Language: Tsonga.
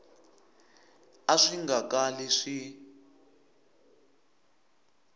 a swi nga kali swi